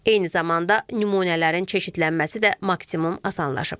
Eyni zamanda nümunələrin çeşidlənməsi də maksimum asanlaşıb.